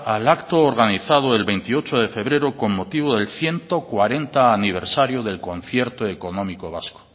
al acto organizado el veintiocho de febrero con motivo del ciento cuarenta aniversario del concierto económico vasco